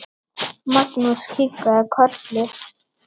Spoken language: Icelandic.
Magnús kinkaði kolli.